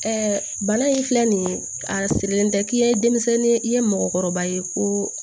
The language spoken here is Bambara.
bana in filɛ nin ye a sirilen tɛ k'i ye denmisɛnnin ye i ye mɔgɔkɔrɔba ye ko